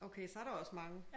Okay så er der også mange